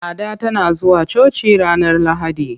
Ada tana zuwa coci ranar Lahadi.